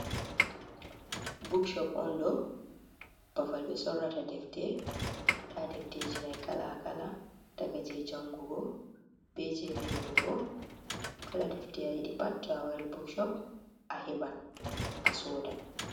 Bookshop on ɗo babal ɓe sorrata defte. Nda defteji mai kala-kala daga je jangugo, be je vindugo. Kala defte a yiɗi pat to awari bookshop aheɓan asoda.